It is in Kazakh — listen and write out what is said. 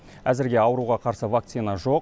әзірге ауруға қарсы вакцина жоқ